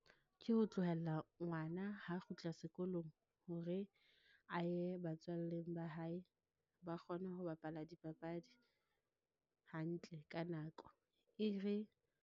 Ke ho tlohella ngwana ha a kgutla sekolong hore a ye batswalleng ba hae, ba kgone ho bapala dipapadi hantle ka nako, e re.